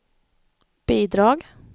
bidrag